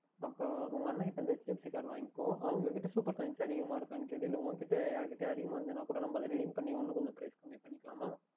அப்பொழுது உங்கள் அண்ணனிடம் வந்து HDFC Card வாங்கிக்கொள் அவர்கள் இடம் அதிகமாக Supercoins இருக்கின்றதா என்று கேள் இல்லை உன்னிடம் வேறுயாராவுதுயிடம் இருந்தால் கூட நாம் Redeem பண்ணி இனியும் கொஞ்சம் Price கம்மி பணிக்கொள்ளலாம்